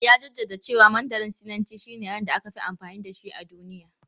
Ya jaddada cewa Mandarin Sinanci shine yaren da aka fi amfani da shi a duniya.